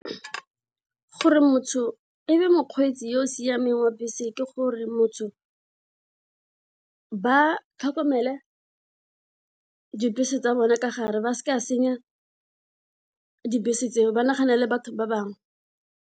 Gore motho e be mokgweetsi yo o siameng wa bese ke gore motho ba tlhokomele dibese tsa bona ka gare ba seka ba senya dibese tseo ba naganele batho ba bangwe.